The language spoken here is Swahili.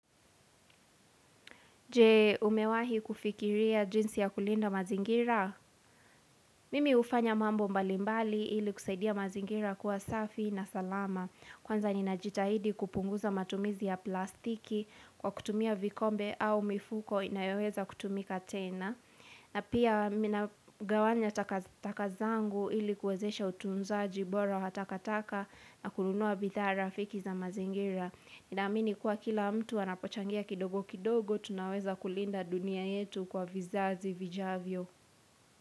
Je umewahi kufikiria jinsi ya kulinda mazingira? Mimi hufanya mambo mbalimbali ili kusaidia mazingira kuwa safi na salama. Kwanza ninajitahidi kupunguza matumizi ya plastiki kwa kutumia vikombe au mifuko inayoweza kutumika tena. Na pia ninagawanya taka zangu ili kuwezesha utunzaji bora matakataka na kununua bidhaa rafiki za mazingira. Naamini kuwa kila mtu anapochangia kidogo kidogo, tunaweza kulinda dunia yetu kwa vizazi vijavyo.